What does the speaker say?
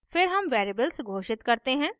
फिर हम variables घोषित करते हैं